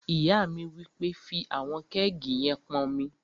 Ìyá mi wí pé, "fí àwọn kẹ́ẹ̀gì yẹn pọn omi!"